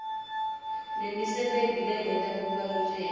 nemisebenti lengeta kubaluleka